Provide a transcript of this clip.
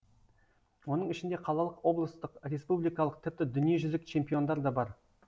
оның ішінде қалалық облыстық республикалық тіпті дүниежүзілік чемпиондар да бар